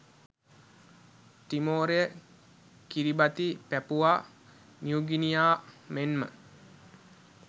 තිමෝරය Kiribati Papua New Guinea මෙන්ම